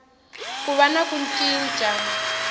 ku va na ku cinca